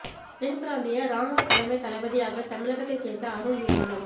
தென் பிராந்திய ராணுவ தலைமை தளபதியாக தமிழகத்தை சேர்ந்த அருண் நியமனம்